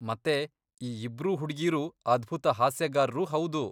ಮತ್ತೆ ಈ ಇಬ್ರೂ ಹುಡ್ಗೀರೂ ಅದ್ಭುತ ಹಾಸ್ಯಗಾರ್ರೂ ಹೌದು.